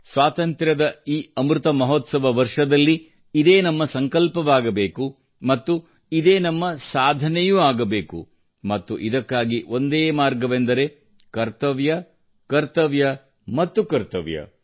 ಸ್ವಾತಂತ್ರ್ಯದ ಈ ಅಮೃತ ಮಹೋತ್ಸವದಲ್ಲಿ ಇದೇ ನಮ್ಮ ಸಂಕಲ್ಪವಾಗಬೇಕು ಮತ್ತು ಇದೇ ನಮ್ಮ ಸಾಧನೆಯೂ ಆಗಬೇಕು ಮತ್ತು ಇದಕ್ಕಾಗಿ ಒಂದೇ ಮಾರ್ಗವೆಂದರೆ ಕರ್ತವ್ಯ ಕರ್ತವ್ಯ ಮತ್ತು ಕರ್ತವ್ಯ